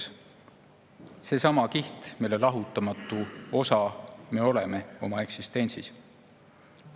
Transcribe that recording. See on seesama kiht, mille lahutamatu osa me oma eksistentsis oleme.